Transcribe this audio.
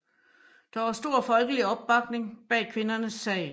Der var stor folkelig opbakning bag kvindernes sag